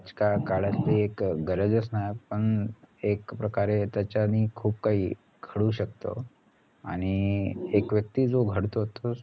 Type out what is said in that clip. कला काळाची एक गरज असणार पण एक प्रकारे त्याच्यानि खूप काई शकत आणि एक व्यक्ती जो घडतो तोच